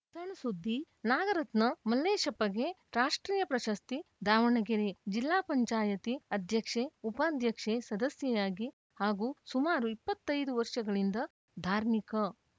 ಸಣ್‌ ಸುದ್ದಿ ನಾಗರತ್ನ ಮಲ್ಲೇಶಪ್ಪಗೆ ರಾಷ್ಟ್ರೀಯ ಪ್ರಶಸ್ತಿ ದಾವಣಗೆರೆ ಜಿಲ್ಲಾ ಪಂಚಾಯಿತಿ ಅಧ್ಯಕ್ಷೆ ಉಪಾಧ್ಯಕ್ಷೆ ಸದಸ್ಯೆ ಯಾಗಿ ಹಾಗೂ ಸುಮಾರು ಇಪ್ಪತ್ತ್ ಐದು ವರ್ಷಗಳಿಂದ ಧಾರ್ಮಿಕ